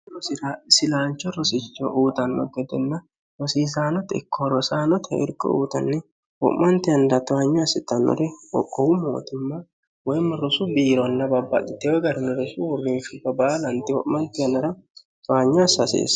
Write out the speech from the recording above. rosilaancho rosicho uutanno gedenna rosiisaanote ikkoho rosaanoteh irko uutanni ho'manti yannada towanyo assitannore ohu mootimma woyimma rosu biironna babbaliteewo garini rosu hurrinfhibba baalanti ho'manti annara towanyo assaaseessa